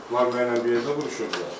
Bunlar mənlə bir yerdə vuruşurdular.